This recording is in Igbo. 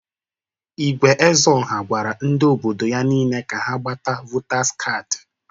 Igwe Ezeọha gwara ndị obodo ya niile ka ha ga-gbata votaz kadị.